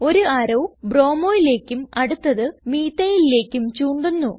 ഒരു അറോ bromoലേക്കും അടുത്തത് methylലേക്കും ചൂണ്ടുന്നു